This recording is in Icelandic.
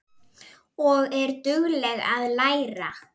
Og er dugleg að læra.